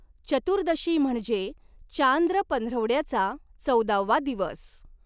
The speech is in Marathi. चतुर्दशी म्हणजे चांद्र पंधरवड्याचा चौदावा दिवस.